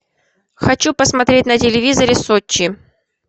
хочу посмотреть на телевизоре сочи